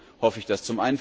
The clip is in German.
Warum hoffe ich das?